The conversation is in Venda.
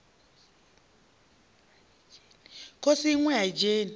khosi iṋwe a i dzheni